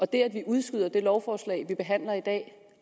det at vi udskyder det lovforslag vi behandler i dag